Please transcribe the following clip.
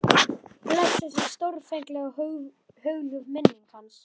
Blessuð sé stórfengleg og hugljúf minning hans.